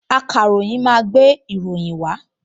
Akọ̀ròyìn máa gbé ìròyìn wá